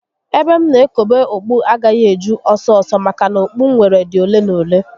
Ebe m na ekobe okpu agaghị eju ọsọ ọsọ maka na okpu m nwere dị ole na ole